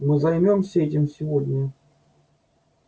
мы займёмся этим сегодня